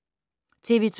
TV 2